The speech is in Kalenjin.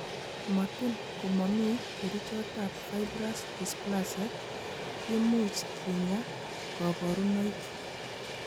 Motin komomi kerichotab fibrous dysplasia, kimuch kinya koboruonik.